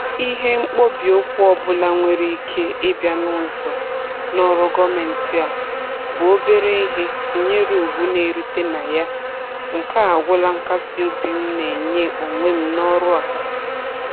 Ihe mkpọbi ụkwụ ọbụla nwere ike ịbịa n'ụzọ n'ọrụ gọọmentị a bụ obere ihe tụnyere ugwu na-erite na ya, nke a agwụla nkasị obi m na-enye onwe m n'ọrụ a